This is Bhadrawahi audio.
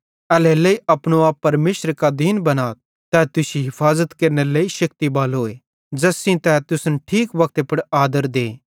एल्हेरेलेइ अपनो आप परमेशरे कां दीन बनाथ तै तुश्शी हफाज़त केरनेरे लेइ शेक्ति बालोए ज़ैस सेइं तै तुसन ठीक वक्ते पुड़ आदर दे